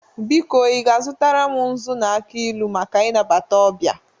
Biko, i ga-azụtara m nzu na aki ilu maka inabata ọbịa